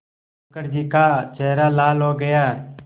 मुखर्जी का चेहरा लाल हो गया